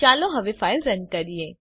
ચાલો હવે file run કરીએ